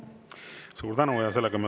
Suur tänu!